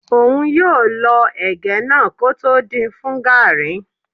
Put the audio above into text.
Óun yóò lọ ẹ̀gẹ́ náà kótó din fún gàrrí.